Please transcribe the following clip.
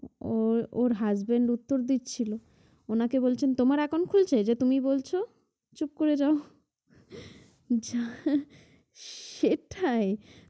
উহ ওর husband উত্তর দিচ্ছিল ওনাকে বলছেন তোমার account খুলছে যে তুমি বলছো? চুপ করে যাও যাই সেটাই।